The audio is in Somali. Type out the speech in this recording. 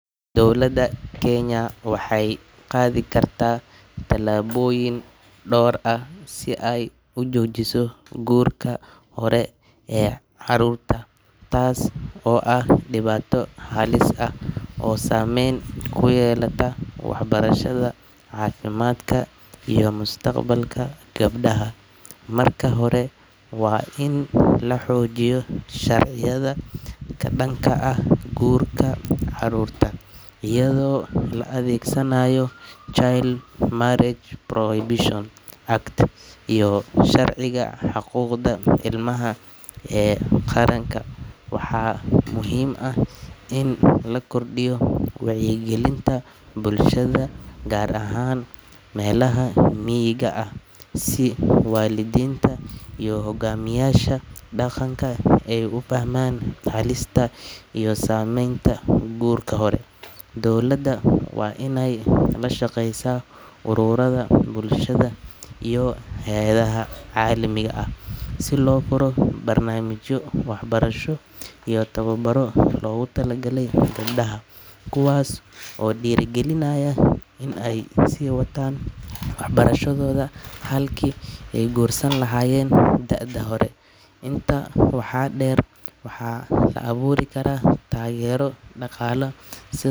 Dowlaada kenya waxee qadhi kartaa talaboyin dor ah si ee ujojiso xarunta tas oo ah diwato halis ah oo samen kuyelata cafimaadka iyo mustaqbalka geebdaha marka hore waa in laxija iyadho oo la adhegsanaya child marriage prohibited iyo sharciga xuquqda ilmaha ee qaranka, gar ahan melaha miga, kuwas oo dira galinaya in ee si watan waxaa deer waxaa la aburi karaa.